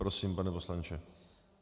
Prosím, pane poslanče.